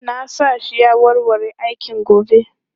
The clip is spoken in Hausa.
Na sa shi ya warware aikin gobe.